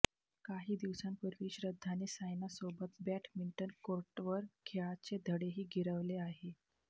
काही दिवसांपूर्वी श्रद्धाने सायनासोबत बॅटमिंटन कोर्टवर खेळाचे धडेही गिरवले आहेत